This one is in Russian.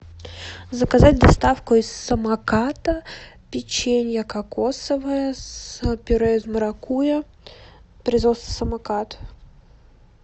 заказать доставку из самоката печенье кокосовое с пюре из маракуйя производство самокат